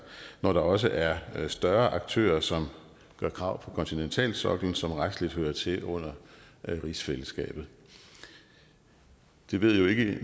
når der også er større aktører som gør krav på kontinentalsoklen som retsligt hører til under rigsfællesskabet vi ved jo ikke